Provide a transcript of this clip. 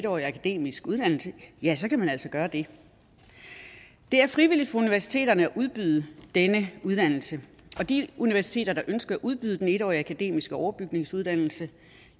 årig akademisk uddannelse ja så kan man altså gøre det det er frivilligt for universiteterne at udbyde denne uddannelse og de universiteter der ønsker at udbyde den en årige akademiske overbygningsuddannelse